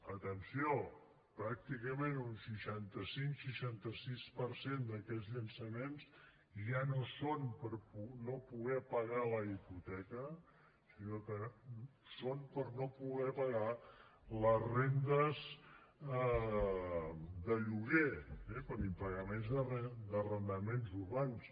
atenció pràcticament un seixanta cinc seixanta sis per cent d’aquests llançaments ja no són per no poder pagar la hipoteca sinó que són per no poder pagar les rendes de lloguer eh per impagaments d’arrendaments urbans